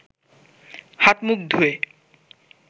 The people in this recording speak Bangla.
হাত-মুখ ধুয়ে